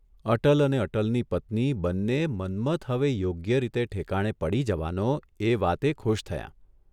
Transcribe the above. અટલ અને અટલની પત્ની બંને મન્મથ હવે યોગ્યરીતે ઠેકાણે પડી જવાનો એ વાતે ખુશ થયાં.